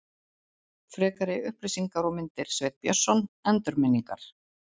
Frekari upplýsingar og myndir Sveinn Björnsson, Endurminningar.